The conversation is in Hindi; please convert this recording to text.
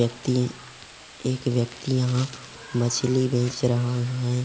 व्यक्ति एक व्यक्ति यहाँ मछली बेच रहा है।